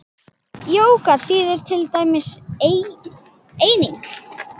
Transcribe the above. Jóga þýðir til dæmis eining.